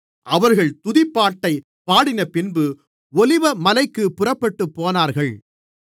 அவர்கள் துதிப்பாட்டைப் பாடினபின்பு ஒலிவமலைக்குப் புறப்பட்டுப்போனார்கள்